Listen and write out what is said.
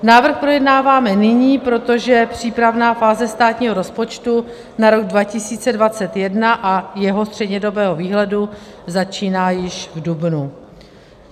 Návrh projednáváme nyní, protože přípravná fáze státního rozpočtu na rok 2021 a jeho střednědobého výhledu začíná již v dubnu.